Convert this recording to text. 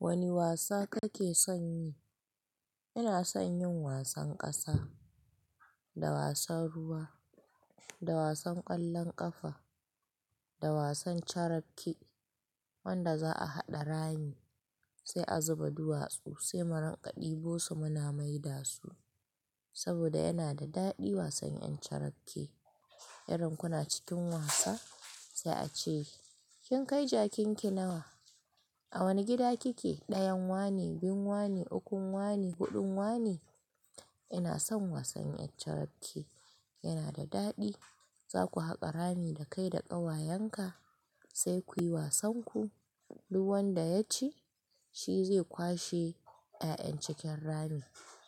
Wani wasa kake son yi? Ina son yin wasan ƙasa, da wasan ruwa, da wasan ƙwallon ƙafa, da wasan carapke wanda za'a haɗa rami sai azuba duwatsu sai mu rinƙa debosu muna maida su saboda yana da daɗi wasan 'yan carake. Irin kuna cikin wasa sai a ce "kin kai jakin ki nawa? A wani gida kike? Ɗayan wani, biyun wani, ukun wani, huɗun wani". Ina son wasan 'yan carapke, yana da daɗi. Zaku haƙa rami da kai da ƙawayen ka sai kuyi wasan ku, duk wanda ya ci shi zai kwashe 'ya'yan cikin rami.